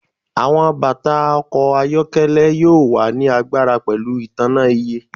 Awọn bata ọkọ ayọkẹlẹ yoo wa ni agbara pẹlu itanna iÿë